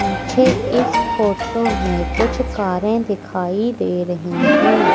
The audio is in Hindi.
मुझे इस फोटो में कुछ कारें दिखाई दे रही हैं।